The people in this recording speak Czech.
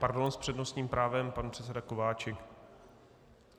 Pardon, s přednostním právem pan předseda Kováčik.